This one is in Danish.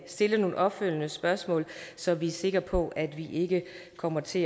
stille nogle opfølgende spørgsmål så vi er sikre på at vi ikke kommer til